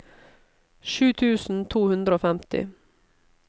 sju tusen to hundre og femti